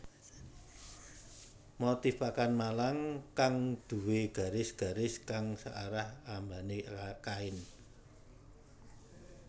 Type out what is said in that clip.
Motif pakan malang kang duwé garis garis kang searah ambané kain